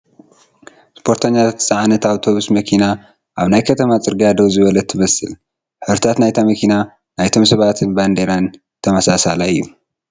እስፖርተኛታት ዝፀዓነት ኣብቶቡስ መኪና ኣብ ናይ ከተማ ፅርግያ ደው ዝበለት ትመስል ሕብርታት ናይታ መኪና፣ ናይቶም ሰባትን ባንዴራን ተመሳሳላይ እዩ ።